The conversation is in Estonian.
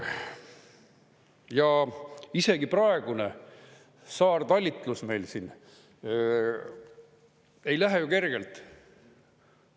Ja isegi praegune saartalitlus meil siin ei lähe kergelt.